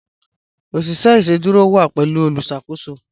Oṣiṣẹ iṣẹdúrò wa pẹ̀lú olùṣakòsò